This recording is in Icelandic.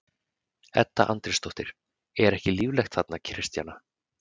Edda Andrésdóttir: Er ekki líflegt þarna Kristjana?